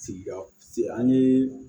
Sigida si an ye